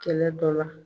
Kɛlɛ dɔ la